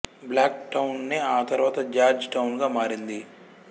black టౌనే ఆ తరువాత జార్జ్ టౌన్ గా మారింది